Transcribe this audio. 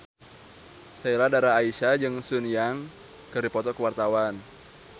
Sheila Dara Aisha jeung Sun Yang keur dipoto ku wartawan